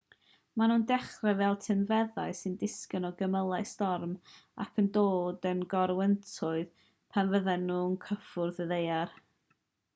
maen nhw'n dechrau fel tynffedau sy'n disgyn o gymylau storm ac yn dod yn gorwyntoedd pan fyddan nhw'n cyffwrdd y ddaear